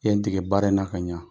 I ye n dege baara in na ka ɲɛ